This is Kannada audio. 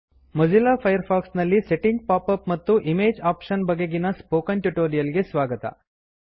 ಮೊಜಿಲ್ಲಾ ಫೈರ್ ಫಾಕ್ಸ್ ನಲ್ಲಿ ಸೆಟ್ಟಿಂಗ್ ಪಾಪ್ ಅಪ್ ಮತ್ತು ಇಮೇಜ್ ಆಪ್ಷನ್ಸ್ ಬಗೆಗಿನ ಸ್ಪೊಕನ್ ಟ್ಯುಟೊರಿಯಲ್ ಗೆ ಸ್ವಾಗತ